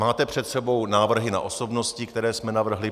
Máte před sebou návrhy na osobnosti, které jsme navrhli.